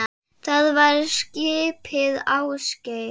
Það var skipið Ásgeir